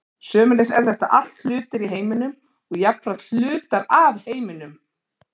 sömuleiðis eru þetta allt hlutir í heiminum og jafnframt hlutar af heiminum